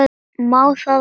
Má það ekki?